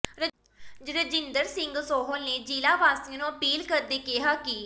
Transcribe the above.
ਰਜਿੰਦਰ ਸਿੰਘ ਸੋਹਲ ਨੇ ਜ਼ਿਲ੍ਹਾ ਵਾਸੀਆਂ ਨੂੰ ਅਪੀਲ ਕਰਦਿਆਂ ਕਿਹਾ ਕਿ